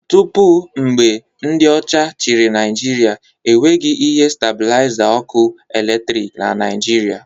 Tupu mgbe ndị ọcha chịrị Naijiria, e nweghị ihe stabilaiza ọkụ eletrik na Naịjirịa